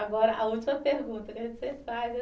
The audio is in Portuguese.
Agora, a última pergunta